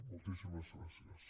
moltíssimes gràcies